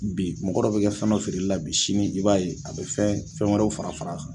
Bi mɔgɔ dɔ bɛ kɛ fɛn dɔ feereli la bi sini i b'a ye a bɛ fɛn fɛn wɛrɛw fara far'a kan.